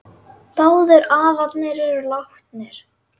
Báðir afarnir eru látnir.